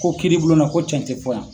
Ko kiiri bulon na ko cɛn tɛ fɔ yan.